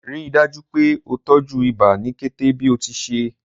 Rii daju pe o tọju iba ni kete bi o ti ṣee.